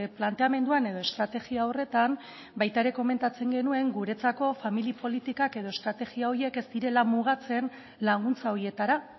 planteamenduan edo estrategia horretan baita ere komentatzen genuen guretzako familia politikak edo estrategia horiek ez direla mugatzen laguntza horietara